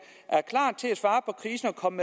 kom